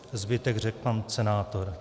Zbytek řekl pan senátor.